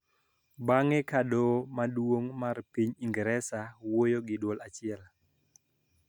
Bang'e ka doho maduong' mar piny Ingresa wuoyo gi duol achiel